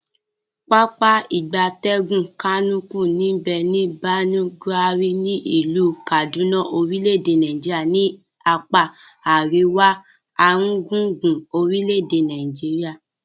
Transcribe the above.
Pápá ìgbatẹ́gùn Kamuku nbe ni Birnin, Gwari, ni ilu Kaduna orile-ede Nigeria ni apa ariwa aringbungbun orile ede Nigeria.